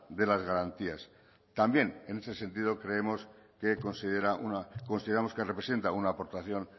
de las garantías también en ese sentido creemos que considera consideramos que representa una aportación